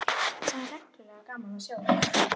Það er reglulega gaman að sjá þig!